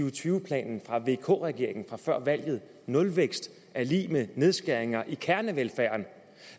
og tyve planen fra vk regeringen fra før valget nulvækst er lig med nedskæringer i kernevelfærden